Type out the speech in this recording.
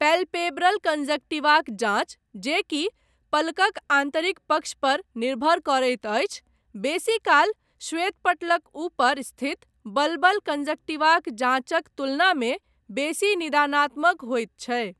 Palpebral कंजंक्टिवाक जाँच, जे कि पलकक आन्तरिक पक्ष पर निर्भर करैत अछि, बेसीकाल श्वेतपटलक ऊपर स्थित बल्बल कंजंक्टिवाक जाँचक तुलनामे बेसी निदानात्मक होइत छै।